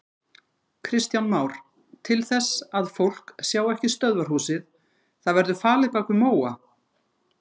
Kristján Már: Til þess að fólk sjái ekki stöðvarhúsið, það verður falið bak við móa?